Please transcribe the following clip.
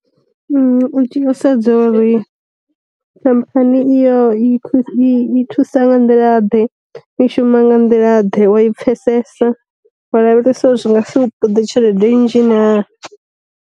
U tea u sedza uri khamphani i yo i thusa nga nḓila ḓe, i shuma nga nḓila ḓe, wa i pfesesa, wa lavhelesa zwi nga si u ṱoḓe tshelede nnzhi na.